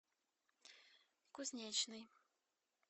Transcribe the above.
кузнечный